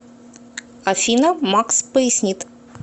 афина макс пояснит